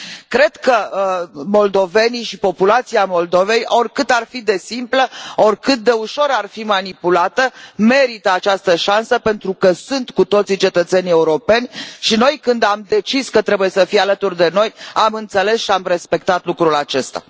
Cred că moldovenii și populația Moldovei, oricât ar fi de simplă, oricât de ușor ar fi manipulată, merită această șansă pentru că sunt cu toții cetățeni europeni și noi, când am decis că trebuie să fie alături de noi, am înțeles și am respectat lucrul acesta.